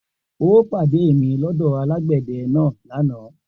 O óò pàdé mi lọ́dọ̀ alágbẹ̀dẹ náà lọ́la!